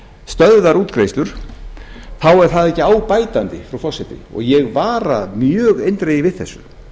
stöðvar útgreiðslur þá er það ekki á bætandi frú forseti og ég vara mjög eindregið við þessu